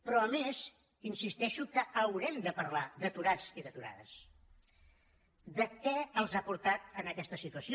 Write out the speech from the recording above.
però a més insisteixo que haurem de parlar d’aturats i d’aturades de què els ha portat a aquesta situació